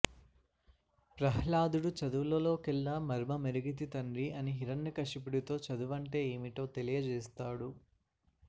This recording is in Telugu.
ప్రహ్లాదుడు చదువులలోకెల్లా మర్మమెరిగితి తండ్రి అని హిరణ్యకశిపుడితో చదువంటే ఏమిటో తెలియజేస్తాడు